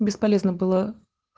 бесполезно было